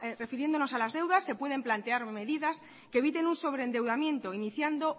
refiriéndonos a las deudas se pueden plantear medidas que eviten un sobreendeudamiento iniciando